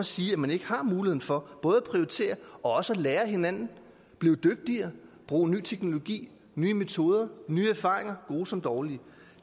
sige at man ikke har mulighed for både at prioritere og lære af hinanden blive dygtigere bruge ny teknologi nye metoder få nye erfaringer gode som dårlige